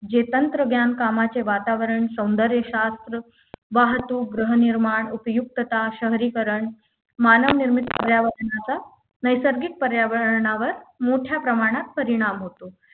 जे तंत्रज्ञान कामाचे वातावरण सौंदर्यशास्त्र वाहतूक गृहनिर्माण उपयुक्तता शहरीकरण मानवनिर्मित पर्यावरणाचा नैसर्गिक पर्यावरणावर मोठ्या प्रमाणात परिणाम होतो